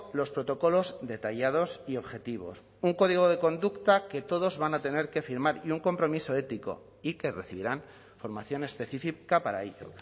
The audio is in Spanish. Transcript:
los protocolos detallados y objetivos un código de conducta que todos van a tener que firmar y un compromiso ético y que recibirán formación específica para ello